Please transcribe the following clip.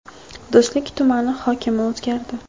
Do‘stlik tumani hokimi o‘zgardi.